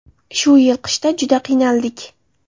Shu yil qishda juda qiynaldik.